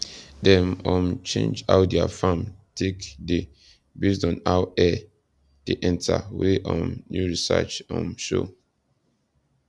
dem um change how their farm take dey based on how air dey enta wey um new research um show